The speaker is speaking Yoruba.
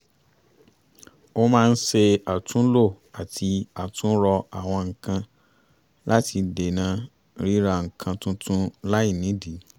ó máa ń ṣe àtúnlò àti àtúnrọ àwọn nǹkan láti dáná ríra nǹkan tuntun láì nídìí